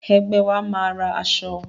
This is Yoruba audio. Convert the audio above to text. Ẹgbẹ́ wa máa ra aṣọ.